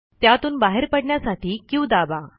त्यातून बाहेर पडण्यासाठी क्यू दाबा